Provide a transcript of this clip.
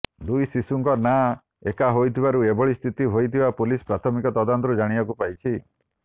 ଦୁଇ ଶିଶୁଙ୍କ ନାଁ ଏକା ହୋଇଥିବାରୁ ଏଭଳି ସ୍ଥିତି ହୋଇଥିବା ପୁଲିସ ପ୍ରାଥମିକ ତଦନ୍ତରୁ ଜାଣିବାକୁ ପାଇଛି